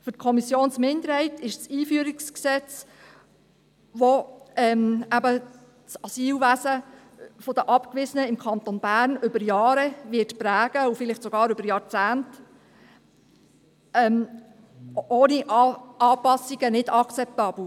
Für die Kommissionsminderheit ist das Einführungsgesetz, welches eben das Asylwesen im Kanton Bern für die Abgewiesenen über Jahre, und vielleicht sogar über Jahrzehnte, prägen wird, ohne Anpassungen nicht akzeptabel.